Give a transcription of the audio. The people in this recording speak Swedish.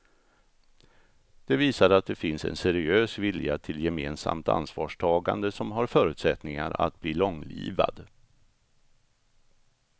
Det visar att det finns en seriös vilja till gemensamt ansvarstagande som har förutsättningar att bli långlivad.